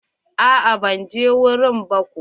A'a ban je wurin ba ko.